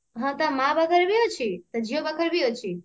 ହଁ ତା ମା ପାଖରେ ବି ଅଛି ତା ଝିଅ ପାଖରେ ବି ଅଛି